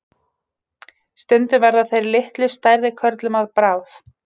Stundum verða þeir litlu stærri körlum að bráð.